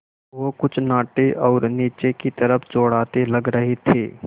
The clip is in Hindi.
वो कुछ नाटे और नीचे की तरफ़ चौड़ाते लग रहे थे